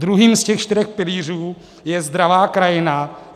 Druhým z těch čtyř pilířů je zdravá krajina.